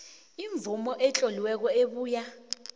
imvumo etloliweko ebuya